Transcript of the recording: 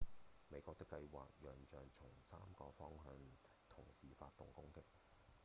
美國的計畫仰仗從三個方向同時發動攻擊